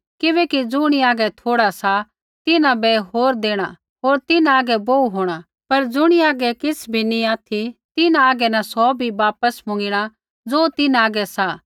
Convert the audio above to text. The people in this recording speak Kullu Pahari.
किबैकि ज़ुणी हागै थोड़ा सा तिन्हां बै होर देणा होर तिन्हां हागै बोहू होंणा पर ज़ुणी हागै किछ़ बी नी ऑथि तिन्हां हागै न सौ बी वापस मुँगिणा ज़ो तिन्हां हागै सा